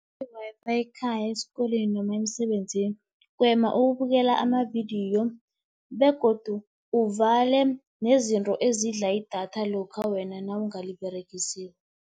I-Wi-Fi ekhaya, esikolweni noma emsebenzini, gwema ukubukela amavidiyo begodu uvale nezinto ezidla idatha lokha wena nawungaliberegisiko.